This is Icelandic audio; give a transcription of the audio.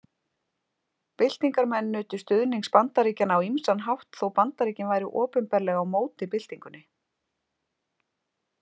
Byltingarmenn nutu stuðnings Bandaríkjanna á ýmsan hátt þó Bandaríkin væru opinberlega á móti byltingunni.